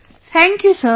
Thank you sir